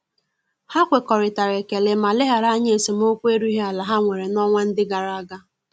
Ha ekwekoritara ekele ma leghara anya esemokwu erughi ala ha nwere na-onwa ndi agaraga.